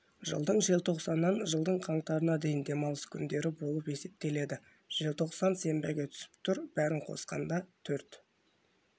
жылдың желтоқсанынан жылдың қаңтарына дейін демалыс күндері болып есептеледі желтоқсан сенбіге түсіп тұр бәрін қосқанда төрт